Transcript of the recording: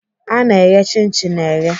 Ana eghe chin chin eghe.